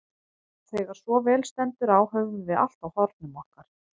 Þegar svo stendur á höfum við allt á hornum okkar.